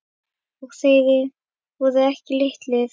Og þeir voru ekki litlir.